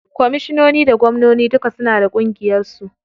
Komishinoni da gwamnoni duka suna da ƙungiyar su.